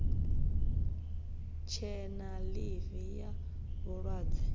tshe na ḽivi ya vhulwadze